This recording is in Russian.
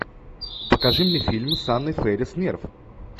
покажи мне фильм с анной фэрис нерв